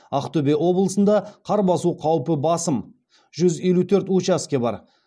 ақтөбе облысында қар басу қаупі басым жүз елу төрт учаске бар